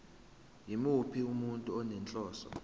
yimuphi umuntu onenhloso